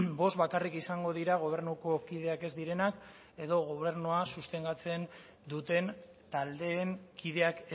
bost bakarrik izango dira gobernuko kideak ez direnak edo gobernua sustengatzen duten taldeen kideak